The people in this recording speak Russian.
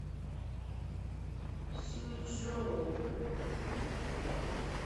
сюйчжоу